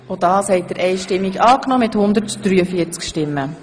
Sie haben Artikel 2a, Absatz 2 (neu) angenommen.